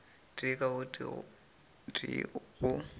tee ka o tee go